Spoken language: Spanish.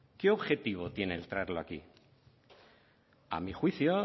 qué objetivo tiene el traerla aquí a mi juicio